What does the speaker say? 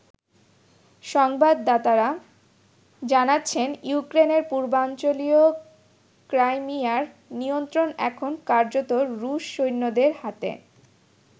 সংবাদদাতারা জানাচ্ছেন ইউক্রেনের পূর্বাঞ্চলীয় ক্রাইমিয়ার নিয়ন্ত্রণ এখন কার্যত রুশ সৈন্যদের হাতে।